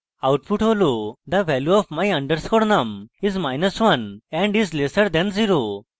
output হল the value of my _ num is1 and is lesser than 0